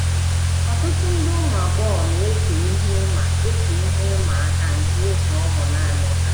Ọtụtụ nde ụmụ agbọghọ na - eche ihe ịma eche ihe ịma aka nke ịzụ ụmụ nanị ha.